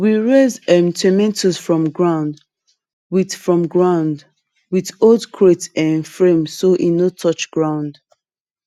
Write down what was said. we raise um tomato from ground with from ground with old crate um frame so e no touch ground